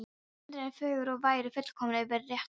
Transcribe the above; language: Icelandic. Stundin er fögur og væri fullkomin fyrir rettu.